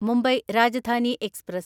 Mumbai Rajdhani express